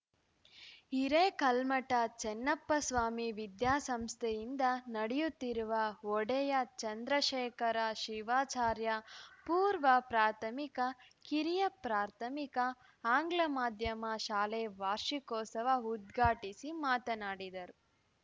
ಹಿರೇಕಲ್ಮಠ ಚನ್ನಪ್ಪ ಸ್ವಾಮಿ ವಿದ್ಯಾಸಂಸ್ಥೆಯಿಂದ ನಡೆಯುತ್ತಿರುವ ಒಡೆಯರ್‌ ಚಂದ್ರಶೇಖರ ಶಿವಾಚಾರ್ಯ ಪೂರ್ವ ಪ್ರಾಥಮಿಕ ಕಿರಿಯ ಪ್ರಾಥಮಿಕ ಆಂಗ್ಲ ಮಾಧ್ಯಮ ಶಾಲೆ ವಾರ್ಷಿಕೋತ್ಸವ ಉದ್ಘಾಟಿಸಿ ಮಾತನಾಡಿದರು